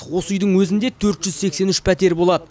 осы үйдің өзінде төрт жүз сексен үш пәтер болады